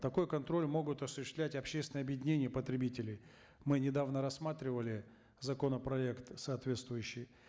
такой контроль могут осуществлять общественные объединения потребителей мы недавно рассматривали законопроект соответствующий